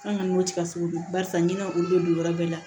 An kɔni b'o tiga sogo dun barisa n'a olu be don yɔrɔ bɛɛ la